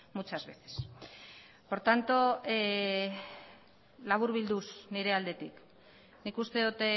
muchas veces por tanto laburbilduz nire aldetik nik uste dut